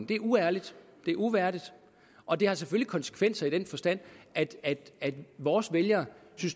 det er uærligt det er uværdigt og det har selvfølgelig konsekvenser i den forstand at at vores vælgere